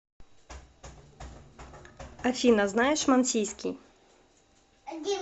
афина знаешь мансийский